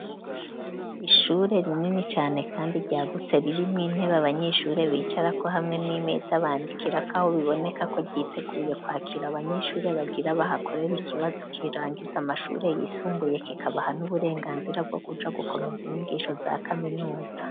Ishure rinini cane kandi ryagutse ririmwo intebe abanyeshure bicarako hamwe n'imeza bandikirako aho biboneka ko ryiteguye kwakira abanyeshuri bagira bahakorera ikibazo kirangiza amashure yisumbuye kikabaha n'uburenganzira bwo kuja gukomeza inyigisho za kaminuza.